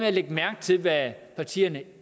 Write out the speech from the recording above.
at lægge mærke til hvad partierne